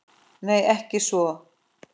Nei, ekki svo